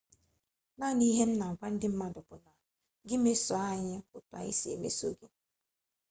naanị ihe m na-agwa ndị mmadụ bụ na gị meso anyị etu anyị si emeso gị